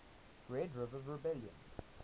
red river rebellion